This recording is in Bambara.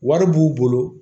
Wari b'u bolo